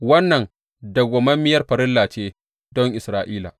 Wannan dawwammamiyar farilla ce don Isra’ila.